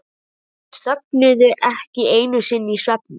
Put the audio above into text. Þær þögnuðu ekki einu sinni í svefni.